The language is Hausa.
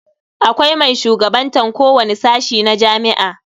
Akwai mai shugabantan kowani sashi na jami'a.